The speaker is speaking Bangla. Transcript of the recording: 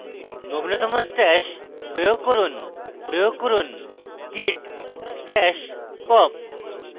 নবীনতম stash প্রয়োগ করুন প্রয়োগ করুন – git stash pop